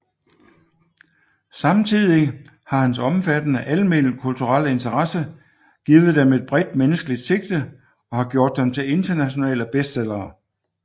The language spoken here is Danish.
Samtidig har hans omfattende alment kulturelle interesse givet dem et bredt menneskeligt sigte og har gjort dem til internationale bestsellere